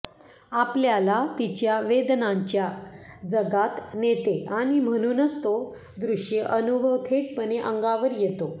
आपल्याला तिच्या वेदनांच्या जगात नेते आणि म्हणूनच तो दृश्य अनुभव थेटपणे अंगावर येतो